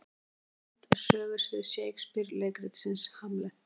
Hvaða land er sögusvið Shakespeare leikritsins Hamlet?